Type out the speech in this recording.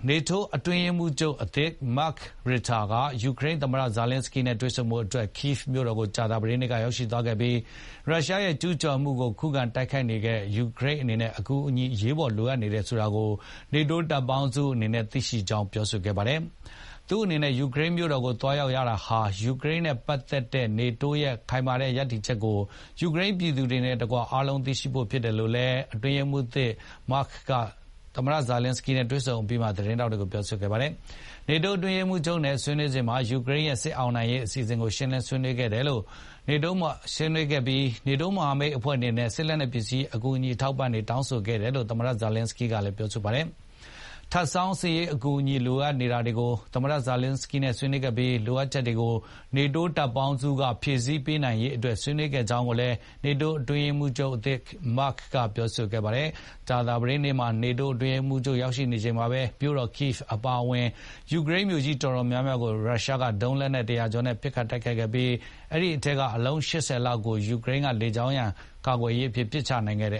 NATO အတွင်းရေးမှူးချုပ်အသစ် Mark Rutte ယူကရိန်းသမ္မတ ဇာလင်းစကီးနဲ့တွေ့ဆုံဖို့ ကိဗ်မြို့တော်ကို ကြာသပတေးနေ့ကရောက်သွားခဲ့ပြီး ရုရှားရဲ့ကျူးကျော်မှုကို ခုခံတိုက်ခိုက်နေတဲ့ ယူကရိန်းအနေနဲ့ အကူအညီတွေ အရေးပေါ်လိုအပ်နေတယ်ဆိုတာကို NATO တပ်ပေါင်းစုအနေနဲ့ သိရှိကြောင်း ပြောခဲ့ပါတယ်။ သူ့အနေနဲ့ ယူကရိန်းမြို့တော်ကိုသွားရောက်ရတာဟာ ယူကရိန်းနဲ့ပတ်သက်တဲ့ NATO ရဲ့ ခိုင်မာတဲ့ရပ်တည်ချက်ကို ယူကရိန်းပြည်သူတွေနဲ့ တကွ အားလုံးသိရှိဖို့အတွက်ဖြစ်တယ်လို့လည်း အတွင်းရေးမှူးသစ် Mark Rutte က သမ္မတဇာလင်းစကီးနဲ့တွေ့ဆုံအပြီးမှာ သတင်းထောက်တွေကို ပြောခဲ့ပါတယ်။ နေတိုးအတွင်းရေးမှူးချုပ်နဲ့ဆွေးနွေးစဉ်မှာ ယူကရိန်းရဲ့ စစ်အောင်နိုင်ရေးအစီအစဉ်ကို ရှင်းလင်းဆွေးနွေးခဲ့ပြီး NATO မဟာမိတ်အနေနဲ့ စစ်လက်နက်ပစ္စည်းတွေကူညီထောက်ပံ့ဖို့ တောင်းခံခဲ့တယ်လို့ သမ္မတဇာလင်းစကီးကလည်း ပြောခဲ့ပါတယ်။ ထပ်ဆောင်းစစ်ရေးအကူအညီလိုအပ်နေတာတွေကို သမ္မတဇာလင်းစကီးနဲ့ဆွေးနွေးခဲ့ပြီး ဒီလိုအပ်ချက်တွေကို NATO တပ်ပေါင်းစုက ဖြည့်ဆည်းပေးနိုင်ရေးတွေကို ဆွေးနွေးခဲ့တယ်လို့ NATO အတွင်းရေးမှူးချုပ် Mark Tutte ကပြောပါတယ်။ ကြာသပတေးနေ့မှာ NATO အတွင်းရေးမှူးချုပ်ရောက်ရှိနေတဲ့ ကိဗ်မြို့တော်အပါအဝင် ယူကရိန်းမြို့ကြီးအတော်များများကို ရုရှားက ဒရုန်းလက်နက် ၁၀၀ ကျော်နဲ့ပစ်ခတ်တိုက်ခိုက်ခဲ့ပြီး အဲဒီအထဲက အလုံး ၈၀ လောက်ကို ယူကရိန်း လေကြောင်းရန်ကာကွယ်ရေးက ပစ်ချနိုင်ခဲ့တ